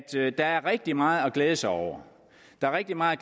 der er rigtig meget at glæde sig over der er rigtig meget